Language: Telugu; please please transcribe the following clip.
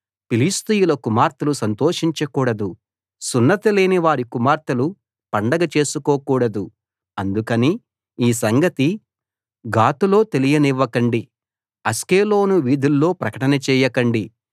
ఫిలిష్తీయుల కుమార్తెలు సంతోషించకూడదు సున్నతి లేనివారి కుమార్తెలు పండగ చేసుకోకూడదు అందుకని ఈ సంగతి గాతులో తెలియనియ్యకండి అష్కెలోను వీధుల్లో ప్రకటన చేయకండి